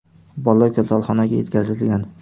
Bola kasalxonaga yetkazilgan.